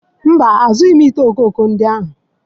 Mba, azụrụghị m vasii ifuru ndị ahụ